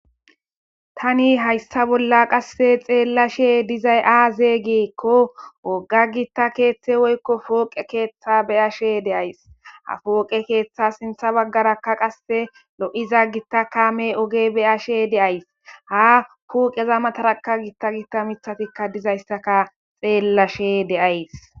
Tani xeellashe dizay aze giko woga gita woyiko pooqe keeththa beyashe deyayisi ha poqe ketha sintha bagara qasse loyizaa gita kame oge beyashe deyayisi ha huphezara gita gita mithati dizayisa beyashe dayisi.